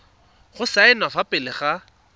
go saenwa fa pele ga